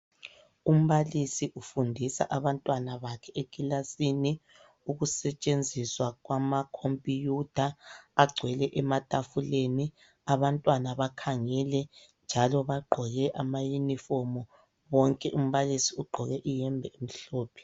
Umbalisi ufundisa abantwana bakhe ekilasini, ukusetshenziswa kwamakhompuyutha agcwele ematafuleni. Abantwana bakhangele njalo bagqoke amayinifomu bonke, umbalisi ugqoke iyembe emhlophe.